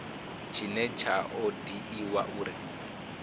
tshine tsha o dzhiiwa uri